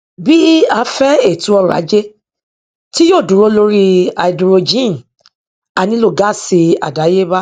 bí a fẹ ètò ọrọ ajé tí yòó dúró lóri háídírójìn a nílò gáásì àdéyébá